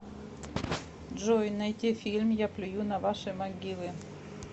джой найти фильм я плюю на ваши могилы